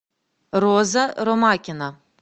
роза ромакина